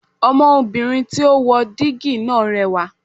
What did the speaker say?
Ọmọ obìnrin tí ó wo dígí náà rẹwà